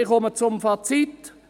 Ich komme zum Fazit: